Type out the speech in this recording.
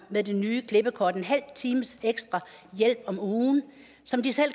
med det nye klippekort en halv times ekstra hjælp om ugen som de selv